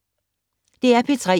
DR P3